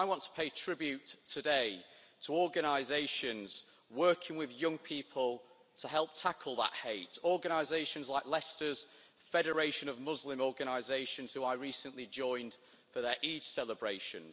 So I want to pay tribute today to organisations working with young people to help tackle that hate organisations like Leicester's Federation of Muslim Organisations, who I recently joined for their Eid celebrations